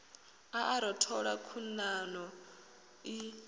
a a rothola khuḓano i